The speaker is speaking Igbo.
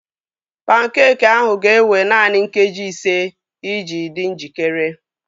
Pankeekị ahụ ga-ewe naanị nkeji ise iji dị njikere